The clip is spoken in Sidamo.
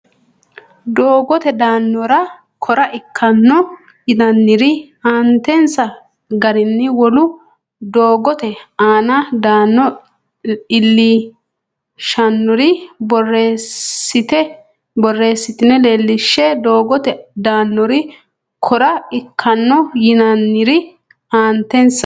Doogote danora kora ikkanno yinannire aantensa garinni Wolu doogote aana dano iillishannori borreessitine leellishshe Doogote danora kora ikkanno yinannire aantensa.